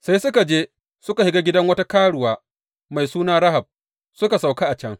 Sai suka je suka shiga gidan wata karuwa mai suna Rahab, suka sauka a can.